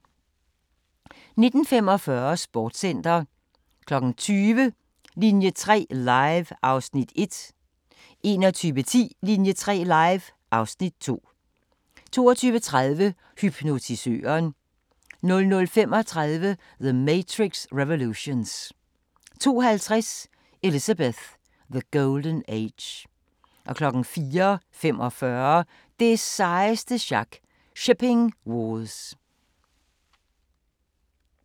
19:45: Sportscenter 20:00: Linie 3 Live (Afs. 1) 21:10: Linie 3 Live (Afs. 2) 22:30: Hypnotisøren 00:35: The Matrix Revolutions 02:50: Elizabeth – The Golden Age 04:45: Det sejeste sjak – Shipping Wars